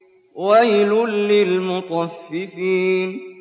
وَيْلٌ لِّلْمُطَفِّفِينَ